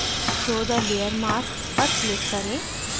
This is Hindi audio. show the layer mask पर click करें